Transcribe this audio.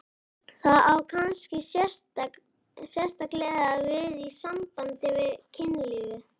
Það á kannski sérstaklega við í sambandi við kynlífið.